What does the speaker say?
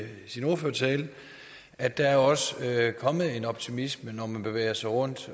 sin ordførertale at der også er kommet en optimisme når man bevæger sig rundt